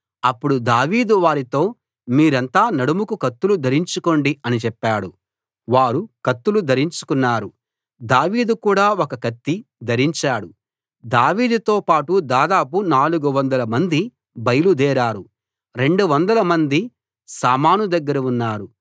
అప్పుడు దావీదు వారితో మీరంతా నడుముకు కత్తులు ధరించుకోండి అని చెప్పాడు వారు కత్తులు ధరించుకున్నారు దావీదు కూడా ఒక కత్తి ధరించాడు దావీదుతో పాటు దాదాపు 400 మంది బయలుదేరారు 200 మంది సామాను దగ్గర ఉన్నారు